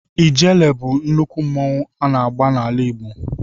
Ijele bụ nnukwu mmanwụ a na-agba n'ala Igbo.